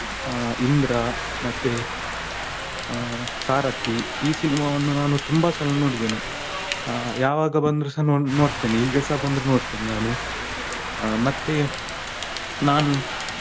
ಇಂದ್ರಾ ಮತ್ತೆ ಆ ಸಾರಥಿ ಈ cinema ವನ್ನು ನಾನು ತುಂಬಾ ಸಲ ನೋಡಿದ್ದೇನೆ, ಯಾವಾಗ ಬಂದ್ರುಸ ನೋಡ್ತೇನೆ, ಈಗಸ ಬಂದ್ರು ನೋಡ್ತೇನೆ ನಾನು ಮತ್ತೆ ನಾನು.